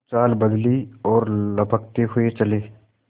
कुछ चाल बदली और लपकते हुए चले